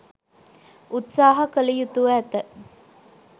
උත්සාහ කළ යුතුව ඇත.